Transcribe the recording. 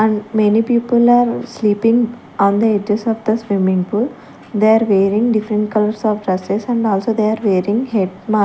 and many people are sleeping on the edges of the swimming pool they are wearing different colours of dresses and also they are wearing head --